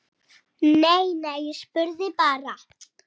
Nei, nei, ég spurði bara